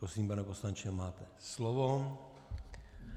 Prosím, pane poslanče, máte slovo.